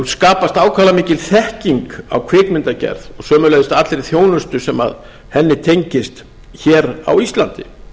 skapast ákaflega mikil þekking á kvikmyndagerð og sömuleiðis allri þjónustu sem henni tengist hér á íslandi